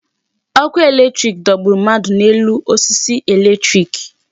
Ọkụ electric dọgburu mmadụ n'elu osisi electric.